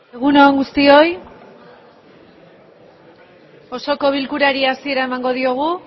egun on guztioi osoko bilkurari hasiera emango diogu